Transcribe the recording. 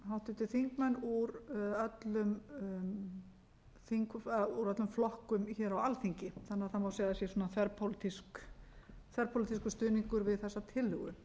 háttvirtir þingmenn úr öllum flokkum hér á alþingi þannig að það má segja að það sé þverpólitískur stuðningur við þessa tillögu